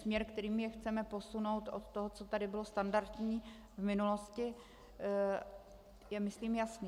Směr, kterými je chceme posunout, od toho, co tu bylo standardní v minulosti, je myslím jasný.